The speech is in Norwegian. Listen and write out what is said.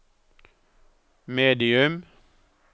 medium